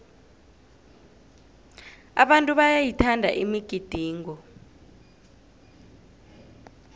abantu bayayithanda imigidingo